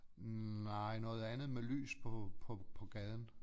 Nej noget andet med lys på på på gaden